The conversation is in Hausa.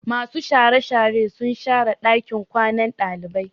Masu share share sun share ɗakin kwanan ɗalibai.